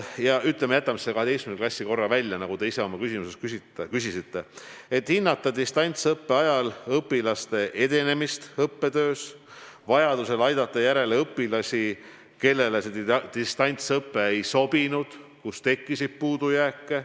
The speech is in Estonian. Jätame selle 12. klassi korra välja, et tuleb hinnata distantsõppe ajal õpilaste edenemist õppetöös, vajaduse korral aidata järele õpilasi, kellele distantsõpe ei sobinud, ja vaadata, kus on tekkinud puudujääke.